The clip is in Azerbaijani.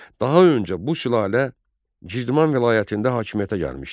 Daha öncə bu sülalə Girdiman vilayətində hakimiyyətə gəlmişdi.